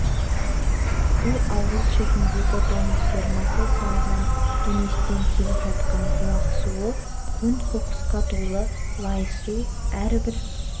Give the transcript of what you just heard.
бұл ауыл шетіндегі доңыз фермасы салынған дөңестен келіп жатқан бұлақ суы көң-қоқысқа толы лай су әрбір